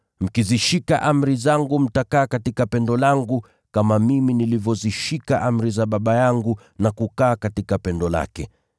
Mkizishika amri zangu mtakaa katika pendo langu, kama mimi nilivyozishika amri za Baba yangu na kukaa katika pendo lake.